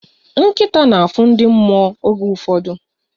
Nkịta na-afụ ndị mmụọ oge ụfọdụ.